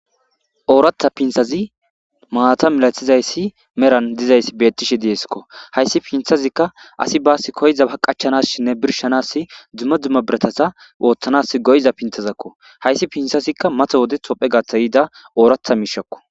ooratha pinthazi maata milathizayssi meran dizayssi bettishe diesikko hayssi pinthazikka asi baas koyza a qachanas shinne birshanas dzumma dzumma biratasa ooththanas goyza pinthazakko hayssi pinthazikka mato wode thophe gatha yiida ooratha miishakko